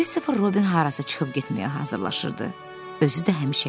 Kristofer Robin harasa çıxıb getməyə hazırlaşırdı.